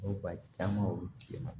Ba caman olu ti na